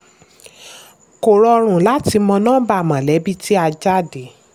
kò rọrùn láti mọ́ nọ́mbà mọ̀lẹ́bí tí a jáde.